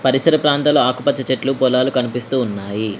పరిసర ప్రాంతాల ఆకుపచ్చ చెట్లు పొలాలు కనిపిస్తూ ఉన్నాయి.